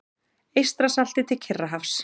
Eystrasalti til Kyrrahafs.